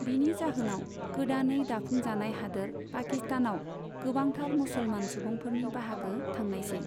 बिनि जाहोनाव, गोदानै दाफुंजानाय हादोर पाकिस्तानआव गोबांथार मुसलमान सुबुंफोरफोरनि बाहागो थांनायसै।